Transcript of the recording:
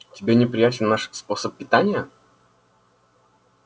тебе неприятен наш способ питания